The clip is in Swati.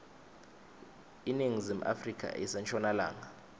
iningizimu afrika ise nshonalanga